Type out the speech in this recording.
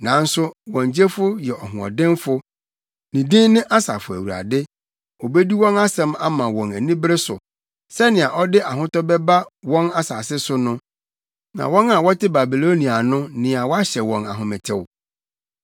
Nanso wɔn Gyefo yɛ ɔhoɔdenfo; ne din ne Asafo Awurade. Obedi wɔn asɛm ama wɔn anibere so, sɛnea ɔde ahotɔ bɛba wɔn asase no so, na wɔn a wɔte Babilonia no nea wahyɛ wɔn ahometew.